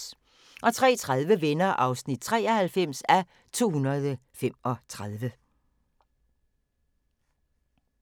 03:30: Venner (93:235)